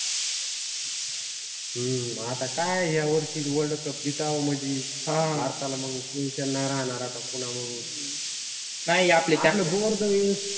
हम्म आता काय यावर्षी world cup जिंकावं म्हंजी भारताला मग tension नाही राहणार आता पुन्हा मग